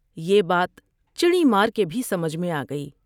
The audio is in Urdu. یہ بات چڑی مار کے بھی سمجھ میں آ گئی ۔